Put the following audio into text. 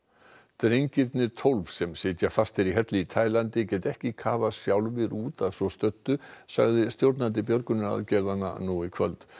drengirnir tólf sem enn sitja fastir í helli í Tælandi geta ekki kafað sjálfir út að svo stöddu sagði stjórnandi björgunaraðgerða nú í kvöld